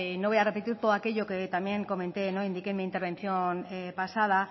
no voy a repetir todo aquello que también comenté o indiqué en mi intervención pasada